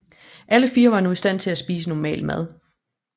Alle fire var nu i stand til at spise normal mad